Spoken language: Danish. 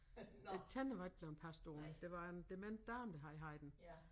Æ tænder var ikke blevet passet ordentligt det var en dement dame der havde haft den